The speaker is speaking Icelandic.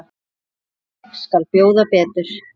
Ég skal bjóða betur.